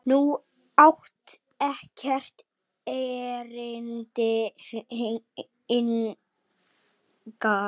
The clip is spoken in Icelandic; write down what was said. Þú átt ekkert erindi hingað.